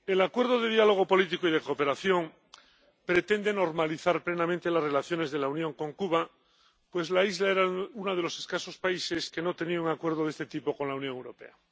Señora presidenta, el Acuerdo de Diálogo Político y de Cooperación pretende normalizar plenamente las relaciones de la Unión con Cuba, pues la isla era uno de los escasos países que no tenía un acuerdo de este tipo con la Unión Europea.